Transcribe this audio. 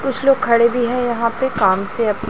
कुछ लोग खड़े भी हैं यहां पे काम से अ--